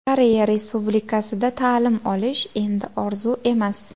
Koreya Respublikasida ta’lim olish endi orzu emas!.